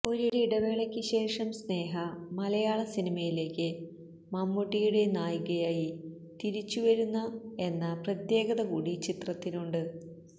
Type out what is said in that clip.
ഒരിടവേളയ്ക്ക് ശേഷം സ്നേഹ മലയാള സിനിമയിലേക്ക് മമ്മൂട്ടിയുടെ നായികയായി തിരിച്ചു വരുന്ന എന്ന പ്രത്യേകത കൂടി ചിത്രത്തിനുണ്ട്